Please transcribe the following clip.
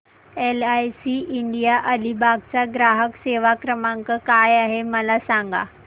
LIC India Alibag चा ग्राहक सेवा क्रमांक काय आहे मला सांगा